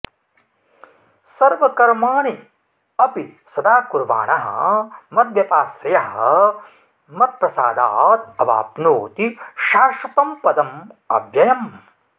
सर्वकर्माणि अपि सदा कुर्वाणः मद्व्यपाश्रयः मत्प्रसादात् अवाप्नोति शाश्वतं पदम् अव्ययम्